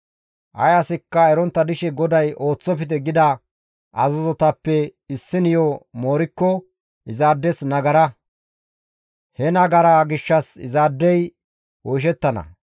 «Ay asikka erontta dishe GODAY ooththofte gida azazotappe issiniyo moorikko izaades nagara; he nagaraa gishshas izaadey oyshettana.